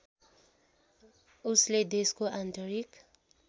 उसले देशको आन्तरिक